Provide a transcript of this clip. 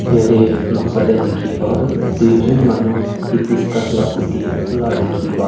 Yatheh noksa dae dekhe pa tuh duijun manu hibiscus la goti la dekhe pa--